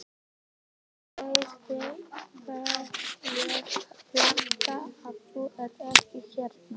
Ég græt þegar ég fatta að þú ert ekki hérna.